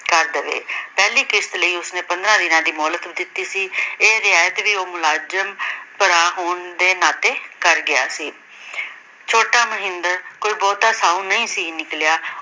ਕਰ ਦਵੇ। ਪਹਿਲੀ ਕਿਸ਼ਤ ਲਈ ੳੇੁਸ ਨੇ ਪੰਦਰਾਂ ਦਿਨ ਦੀ ਮੋਹਲਤ ਦਿੱਤੀ ਸੀ। ਇਹ ਮੋਹਲਤ ਵੀ ਮੁਲਾਜ਼ਮ ਭਰਾ ਹੋਣ ਦੇ ਨਾਤੇ ਕਰ ਗਿਆ ਸੀ । ਛੋਟਾ ਮੋਹਿੰਦਰ ਵੀ ਬਹੁਤਾਂ ਸਾਊ ਨਹੀਂ ਸੀ ਨਿਕਲਿਆ।